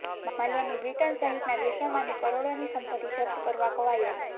માલ્યાની Britain સહિતના દેશોમાંની કરોડોની સંપત્તિ જપ્ત કરવા કવાયત